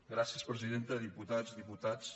gràcies presiden·ta diputats diputades